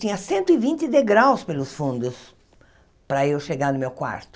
Tinha cento e vinte degraus pelos fundos para eu chegar no meu quarto.